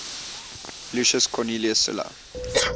lucius cornelius sulla